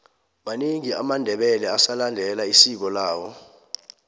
manengi amandebele asalendela isiko lawo